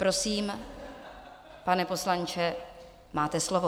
Prosím, pane poslanče, máte slovo.